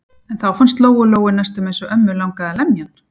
En þá fannst Lóu-Lóu næstum eins og ömmu langaði að lemja hann.